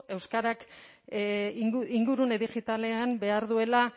euskarak ingurune digitalean behar duela